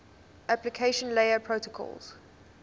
application layer protocols